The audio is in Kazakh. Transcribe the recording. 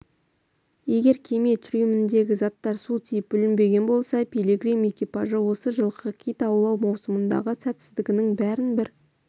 егер кеме трюміндегі заттар су тиіп бүлінбеген болса пилигрим экипажы осы жылғы кит аулау маусымындағы сәтсіздігінің бәрін бір